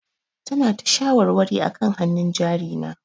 Tana ta shawarwari akan hannun jari na.